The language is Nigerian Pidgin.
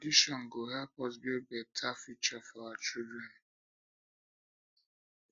na our traditions go help us um build beta future um for our children